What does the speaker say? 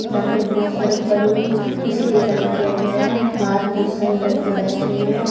यहां पे बहोत सारे बलून उसे डिजाइन किया गया है बाहर बहोत सारे लड़के बैठे हुए हैं।